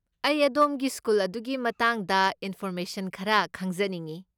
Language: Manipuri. ꯑꯩ ꯑꯗꯣꯝꯒꯤ ꯁ꯭ꯀꯨꯜ ꯑꯗꯨꯒꯤ ꯃꯇꯥꯡꯗ ꯏꯟꯐꯣꯔꯃꯦꯁꯟ ꯈꯔ ꯈꯪꯖꯅꯤꯡꯢ ꯫